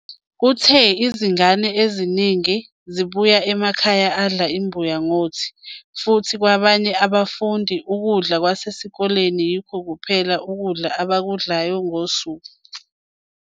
Uthe, "Izingane eziningi zibuya emakhaya adla imbuya ngothi, futhi kwabanye abafundi, ukudla kwasesikoleni yikho kuphela ukudla abakudlayo ngosuku.